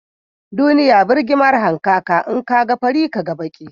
Duniya burgima hankaka, in ka ga fari, Ka ga baki